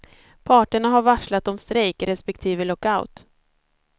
Parterna har varslat om strejk respektive lockout.